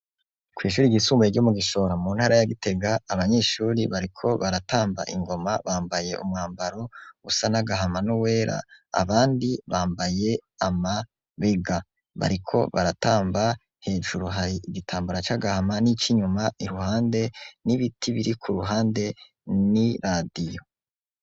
Kw'ishuri ryisumbaye ryo mu Gishora mu ntara ya Gitega abanyeshure bariko baratamba ingoma bambaye umwambaro usa n'agahama n'uwera abandi bambaye amabega bariko baratamba hejuru hari igitambara c'agahama n'inyuma iruhande n'ibiti biri ku ruhande n'iradiyo